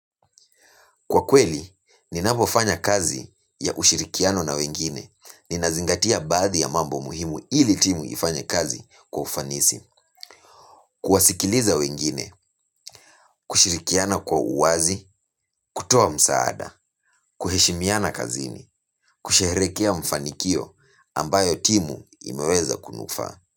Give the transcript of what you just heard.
Kwa kweli, ninapofanya kazi ya ushirikiano na wengine, ninazingatia baadhi ya mambo muhimu ili timu ifanye kazi kwa ufanisi. Kuwasikiliza wengine, kushirikiana kwa uwazi, kutoa msaada, kuheshimiana kazini, kusherehekea mafanikio ambayo timu imeweza kunufaa.